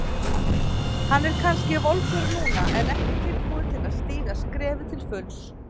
Hann er kannski volgur núna en ekki tilbúinn til að stíga skrefið til fulls.